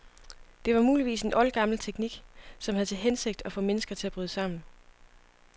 Det var muligvis en oldgammel teknik, som havde til hensigt at få mennesker til at bryde sammen.